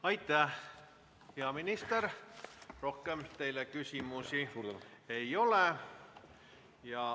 Hea peaminister, rohkem teile küsimusi ei ole.